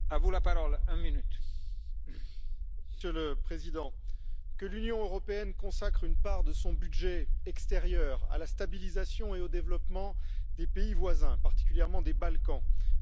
Monsieur le Président, que l'Union européenne consacre une part de son budget extérieur à la stabilisation et au développement des pays voisins, particulièrement des Balkans, est tout à fait légitime.